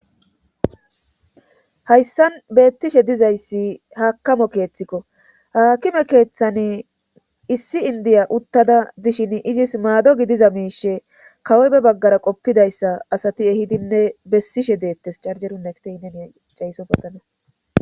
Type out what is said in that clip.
hayssan beettishe dizayssi haakime keeththikko haakime keeththani issi indiya uttada dishin izis maado gidiza miishshe kawoy be baggara qoppidayssa asati ehidinne besishe deettes carjerun nekitey eneni cayssopa tana